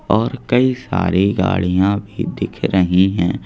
और कई सारी गाड़ियां भी दिख रही हैं।